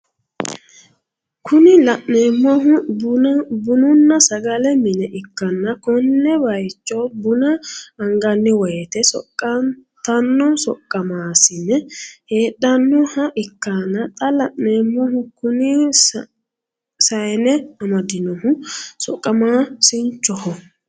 Kuni la'neemohu bununna sagale mine ikkanna kone baayiicho buna anganni woyiite soqqantanno soqqamaasine hedhannoha ikkanna xa la'neemohu kuni saane amadinohu saqqamaasinchoho.